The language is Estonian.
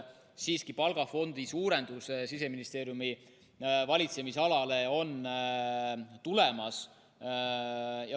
Siiski, palgafondi suurendus Siseministeeriumi valitsemisalas on tulemas.